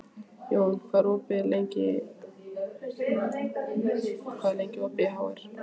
Jón, hvað er lengi opið í HR?